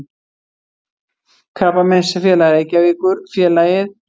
Krabbameinsfélag Reykjavíkur, félagið